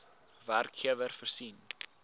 werkgewer voorsien